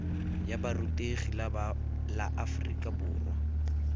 ya borutegi la aforika borwa